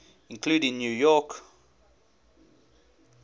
including new york